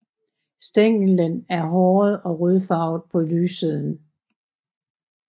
Stænglen er håret og rødfarvet på lyssiden